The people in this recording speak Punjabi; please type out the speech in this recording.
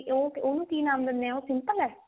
ਉਹਨੂੰ ਕੀ ਨਾਮ ਦਿੰਨੇ ਉਹ simple ਹੈ